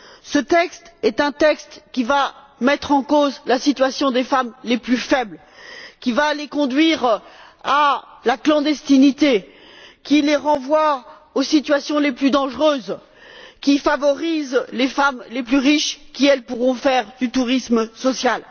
Ce texte est un texte qui va mettre en cause la situation des femmes les plus faibles, qui va les conduire à la clandestinité, qui les renvoie aux situations les plus dangereuses et qui favorise les femmes les plus riches qui, elles, pourront faire du tourisme social.